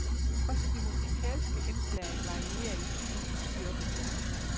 Også de musikalske indslag varierer i stil og styrke.